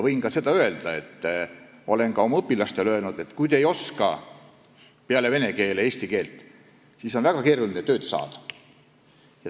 Ma olen oma õpilastele öelnud, et kui nad ei oska peale vene keele ka eesti keelt, siis on väga keeruline tööd saada.